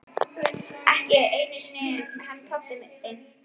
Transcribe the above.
Ekki einu sinni hann pabbi þinn.